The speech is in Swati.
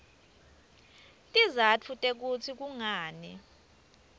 tizatfu tekutsi kungani